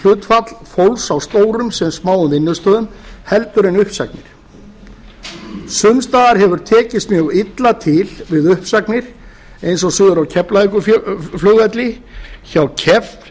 starfshlutfall fólks á stórum sem smáum vinnustöðum en að beita uppsögnum sums staðar hefur tekist mjög illa til við uppsagnir eins og suður á keflavíkurflugvelli hjá